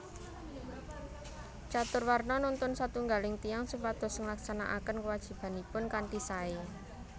Caturwarna nuntun satunggaling tiyang supados nglaksanakaken kuwajibanipun kanthi sae